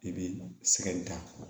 I bɛ sɛgɛ da